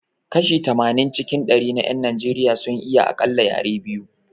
Kashi tamanin cikin dari na 'yan Najeriya sun iya akalla yare biyu